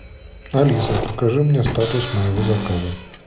алиса покажи мне статус моего заказа